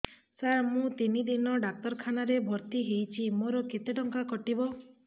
ସାର ମୁ ତିନି ଦିନ ଡାକ୍ତରଖାନା ରେ ଭର୍ତି ହେଇଛି ମୋର କେତେ ଟଙ୍କା କଟିବ